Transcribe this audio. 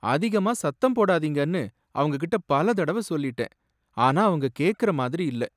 அதிகமா சத்தம் போடாதீங்கனு அவங்ககிட்ட பல தடவ சொல்லிட்டேன், ஆனா அவங்க கேக்கற மாதிரி இல்ல.